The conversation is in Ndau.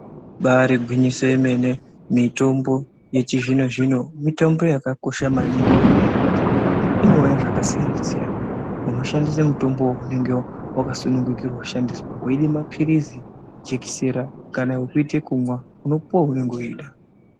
Ibari gwinyiso yemene mitombo yechizvino zvino yakakoshera maningi nenyaya yekuti inouya zvakasiyana siyana unoshandisa mutombo weunenge wakasunungira kushandisa weida mapirizi jekisera kana wekuite kumwa unopuwa weunenge weida.